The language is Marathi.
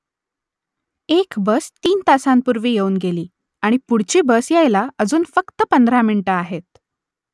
एक बस तीन तासांपूर्वी येऊन गेली आणि पुढची बस यायला अजून फक्त पंधरा मिनिटं आहेत